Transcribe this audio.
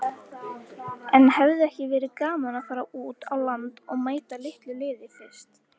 En hefði ekki verið gaman að fara út á land og mæta litlu liði fyrst?